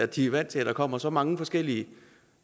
de er vant til at der kommer så mange forskellige